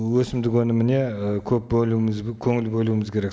өсімдік өніміне і көп бөлуіміз көңіл бөлуіміз керек